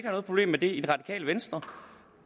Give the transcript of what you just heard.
noget problem med det i det radikale venstre